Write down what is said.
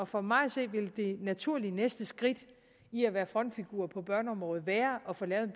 for mig at se vil det naturlige næste skridt i at være frontfigur på børneområdet være at få lavet en